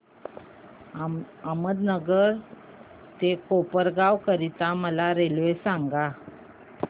अहमदनगर ते कोपरगाव करीता मला रेल्वे सांगा